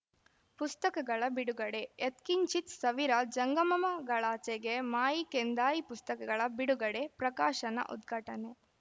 ಪುಸ್ತಕಗಳ ಬಿಡುಗಡೆ ಯತ್ಕಿಂಚಿತ್‌ ಸವಿರ ಜಂಗಮಮಗಳಾಚೆಗೆ ಮಾಯಿ ಕೆಂದಾಯಿ ಪುಸ್ತಕಗಳ ಬಿಡುಗಡೆ ಪ್ರಕಾಶನ ಉದ್ಘಾಟನೆ